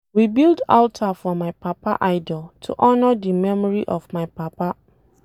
We build alter for my papa idol to honour the memory of my papa